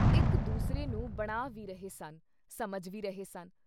ਇੱਕ ਦੁਸਰੇ ਨੂੰ ਬਣਾ ਵੀ ਰਹੇ ਸਨ, ਸਮਝ ਵੀ ਰਹੇ ਸਨ।